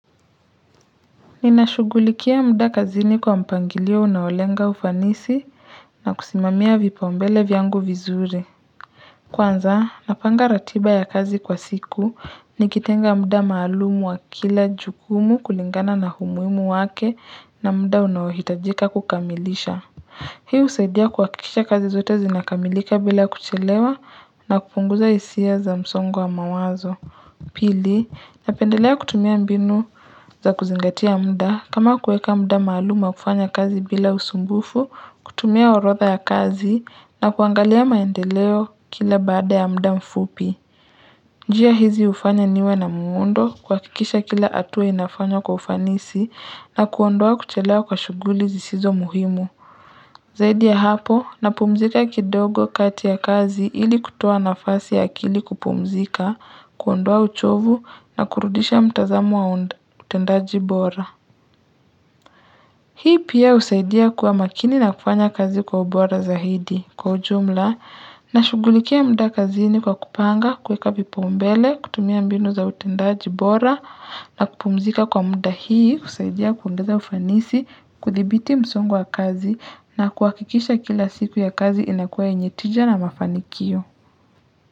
Ninashugulikia muda kazini kwa mpangilio unaolenga ufanisi na kusimamia vipaumbele vyangu vizuri Kwanza napanga ratiba ya kazi kwa siku nikitenga muda maalumu wa kila jukumu kulingana na umuhimu wake na muda unaohitajika kukamilisha Hii husaidia kuhakikisha kazi zote zinakamilika bila kuchelewa na kupunguza hisia za msongo wa mawazo Pili, napendelea kutumia mbinu za kuzingatia mda kama kueka mda maalum wa kufanya kazi bila usumbufu, kutumia orodha ya kazi na kuangalia maendeleo kila baada ya mda mfupi. Njia hizi hufanya niwe na muundo kuhakikisha kila hatua inafanywa kwa ufanisi na kuondoa kuchelewa kwa shughuli zisizo muhimu. Zaidi ya hapo napumzika kidogo kati ya kazi ili kutoa nafasi ya akili kupumzika, kuondoa uchovu na kurudisha mtazamo wa utendaji bora. Hii pia husaidia kuwa makini na kufanya kazi kwa ubora zaidi, kwa ujumla, nashughulikia mda kazini kwa kupanga, kueka vipaumbele, kutumia mbinu za utendaji bora, na kupumzika kwa mda hii, husaidia kuongeza ufanisi, kudhibiti msongo wa kazi, na kuhakikisha kila siku ya kazi inakuwa yenye tija na mafanikio.